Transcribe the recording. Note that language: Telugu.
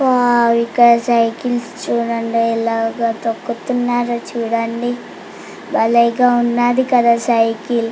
వావ్ ఇక్కడ సైకిల్స్ చుడండి ఎలాగా తొక్కుతున్నారో చుడండి బలేగా ఉన్నదీ కదా సైకిల్ .